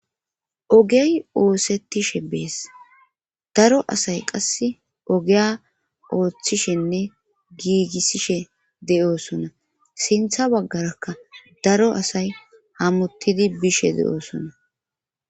Ogey oosettishshe bees daro asay qasse ogeya ooththishenne giigissishe de'oosona siinththa baggarakka daro asay hamuttidi bishe de'oosona